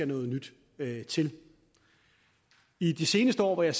noget nyt til i de seneste år hvor jeg